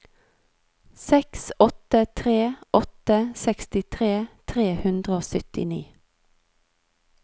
seks åtte tre åtte sekstitre tre hundre og syttini